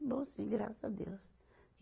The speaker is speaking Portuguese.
Bom sim, graças a Deus.